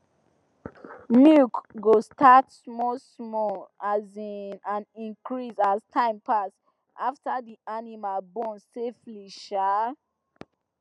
milk go start small small um and increase as time pass after the animal born safely um